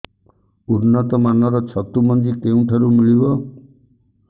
ଉନ୍ନତ ମାନର ଛତୁ ମଞ୍ଜି କେଉଁ ଠାରୁ ମିଳିବ